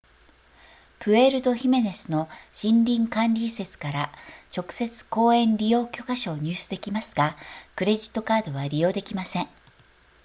プエルトヒメネスの森林管理移設から直接公園利用許可証を入手できますがクレジットカードは利用できません